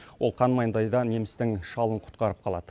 ол қан маңдайда немістің шалын құтқарып қалады